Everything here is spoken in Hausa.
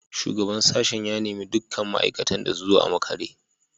Shugaban sashen ya nemi dukkan ma’aikatan da su zo a makare